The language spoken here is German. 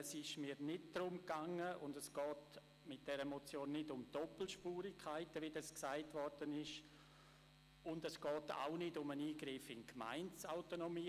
Es geht bei dieser Motion nicht um Doppelspurigkeiten, wie gesagt wurde, und es geht auch nicht um einen Eingriff in die Gemeindeautonomie;